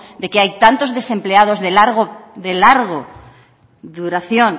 de que hay tantos desempleados de larga duración